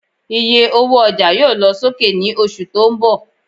Ìyé ọwọ ọjà yóò lọ sókè ní oṣù tó ń bò